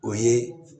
O ye